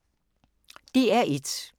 DR1